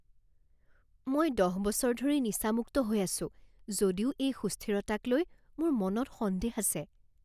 মই দহ বছৰ ধৰি নিচামুক্ত হৈ আছো যদিও এই সুস্থিৰতাকলৈ মোৰ মনত সন্দেহ আছে।